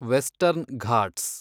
western Ghats